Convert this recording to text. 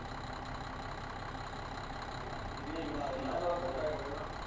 ਤੈਨੂੰ ਆਏ ਨੀ ਲੱਗਦਾ, ਧੱਕਾ ਜਿਹਾ ਹੋ ਗਿਆ ਉਹਦੇ ਨਾਲ।